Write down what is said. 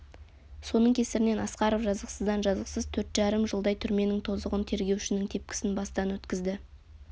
соның кесірінен асқаров жазықсыздан жазықсыз төрт жарым жылдай түрменің тозығын тергеушінің тепкісін бастан өткізді